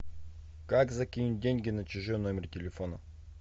как закинуть деньги на чужой номер телефона